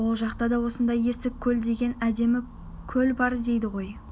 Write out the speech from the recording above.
ол жақта да осындай есік көл деген әдемі көл бар дейді ғой